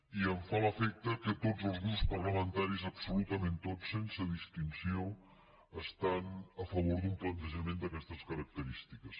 i em fa l’efecte que tots els grups parlamentaris absolutament tots sense distinció estan a favor d’un plantejament d’aquestes característiques